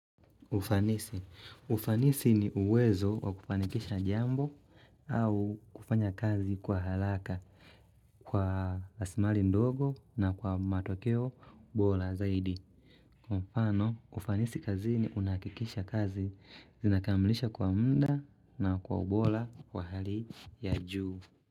Ufanisi. Ufanisi ni uwezo wa kufanikisha jambo au kufanya kazi kwa halaka, kwa asimali ndogo na kwa matokeo bola zaidi. Kwa mfano, ufanisi kazini unahakikisha kazi zinakamilisha kwa mda na kwa ubola kwa hali ya juu.